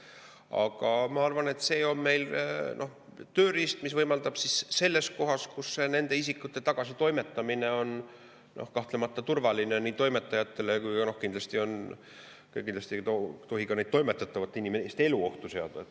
Aga ma arvan, et see on meil tööriist, mis võimaldab kohas, kus nende isikute tagasitoimetamine on toimetajatele turvaline, aga kindlasti ei tohi ka nende toimetatavate inimeste elu ohtu seada.